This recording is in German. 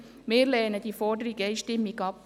Wir lehnen diese Forderung einstimmig ab.